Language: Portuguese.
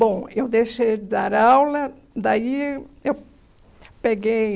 Bom, eu deixei de dar aula, daí eu eu peguei